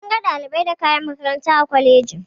Munga ɗalibai da kayan makaranta a kwalejin.